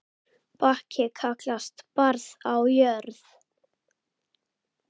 Bakki kallast barð á jörð.